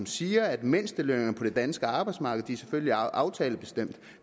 siger at mindstelønningerne på det danske arbejdsmarked selvfølgelig er aftalebestemte